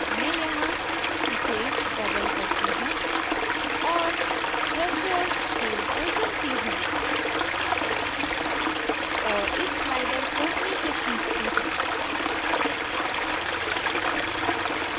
मैं यहाँ इसे double करती हूँ और threshold tool को चुनती हूँ और इस slider को नीचे खींचती हूँ